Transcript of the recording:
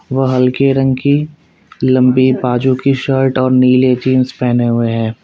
वह हल्के रंग की लंबी बाजू की शर्ट और नीले जींस पहने हुए हैं।